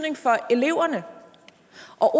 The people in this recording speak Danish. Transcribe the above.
at